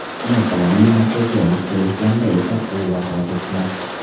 Uni tibbiy markazga olib kelishganda esa u vafot etgan.